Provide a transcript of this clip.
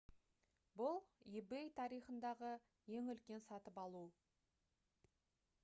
бұл ebay тарихындағы ең үлкен сатып алу